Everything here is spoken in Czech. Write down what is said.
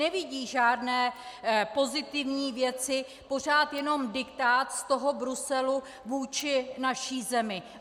Nevidí žádné pozitivní věci, pořád jenom diktát z toho Bruselu vůči naší zemi.